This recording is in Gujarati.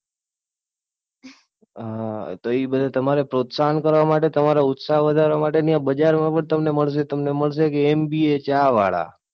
અમ તો એ બધા તમારે પ્રોત્સાહન, તમારો ઉત્શાહ વધારવા માટે ત્યાં બજાર પણ તમને મળશે કે MBA ચા વાળા.